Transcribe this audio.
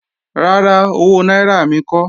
Rárá, owó náírà mi kọ́